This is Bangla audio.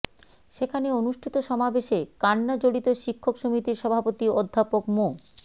সেখানে অনুষ্ঠিত সমাবেশে কান্নাজড়িত শিক্ষক সমিতির সভাপতি অধ্যাপক মো